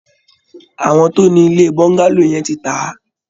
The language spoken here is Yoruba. Àwọn tó ni ilé Bungalow yẹn ti tà á